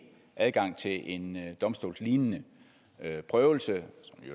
adgang til en domstolslignende prøvelse